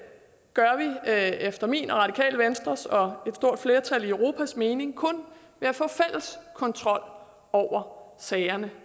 gør vi efter min og radikale venstres og et stort flertal i europas mening kun ved at få fælles kontrol over sagerne